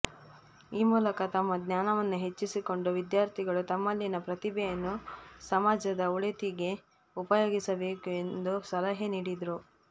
ಈ ಮೂಲಕ ತಮ್ಮ ಜ್ಞಾನವನ್ನು ಹೆಚ್ಚಿಸಿಕೊಂಡು ವಿದ್ಯಾರ್ಥಿಗಳು ತಮ್ಮಲ್ಲಿನ ಪ್ರತಿಭೆಯನ್ನು ಸಮಾಜದ ಒಳಿತಿಗೆ ಉಪಯೋಗಿಸಬೇಕು ಎಂದು ಸಲಹೆ ನೀಡಿದರು